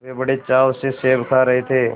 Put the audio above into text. वे बड़े चाव से सेब खा रहे थे